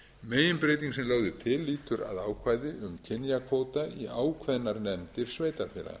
meginbreyting sem lögð er til lýtur að ákvæði um kynjakvóta í ákveðnar nefndir sveitarfélaga